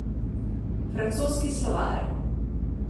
Francoski slovar.